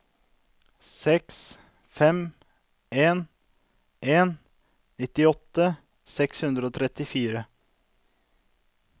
seks fem en en nittiåtte seks hundre og trettifire